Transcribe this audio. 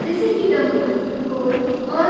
जैसे कि डमरू धोल और --